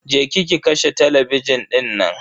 Je ki ki kashe talabijin dinnan